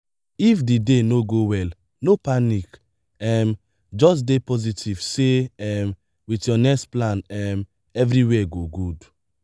if di day no go well no panic um just dey positive sey um with your next plan um everywhere go good